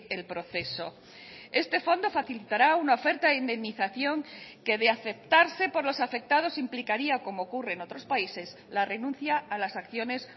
el proceso este fondo facilitará una oferta de indemnización que de aceptarse por los afectados implicaría como ocurre en otros países la renuncia a las acciones